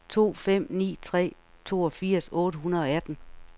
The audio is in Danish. to fem ni tre toogfirs otte hundrede og atten